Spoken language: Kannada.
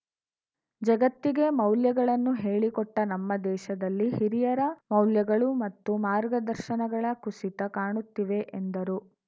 ಜಗತ್ತಿಗೇ ಮೌಲ್ಯಗಳನ್ನು ಹೇಳಿಕೊಟ್ಟನಮ್ಮ ದೇಶದಲ್ಲಿ ಹಿರಿಯರ ಮೌಲ್ಯಗಳು ಮತ್ತು ಮಾರ್ಗದರ್ಶನಗಳ ಕುಸಿತ ಕಾಣುತ್ತಿವೆ ಎಂದರು